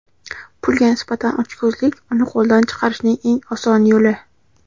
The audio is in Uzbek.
Pulga nisbatan ochko‘zlik — uni qo‘ldan chiqarishning eng oson yo‘li.